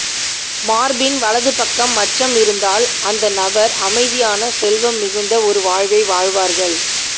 மார்பின் வலது பக்கம் மச்சம் இருந்தால் அந்த நபர் அமைதியான செல்வம் மிகுந்த ஒரு வாழ்வை வாழ்வார்கள்